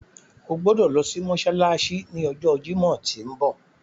O gbodo lo si mósálásí ni ọjọ Jimọ ti nbọ.